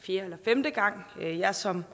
fjerde eller femte gang at jeg som